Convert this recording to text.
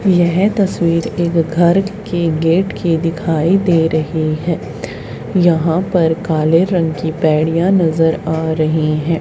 यह तस्वीर एक घर के गेट की दिखाई दे रही है यहां पर काले रंग की पैड़ियां नजर आ रही है।